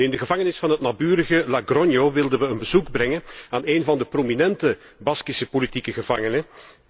In de gevangenis van het naburige Logroño wilden we een bezoek brengen aan één van de prominente Baskishe politieke gevangenen.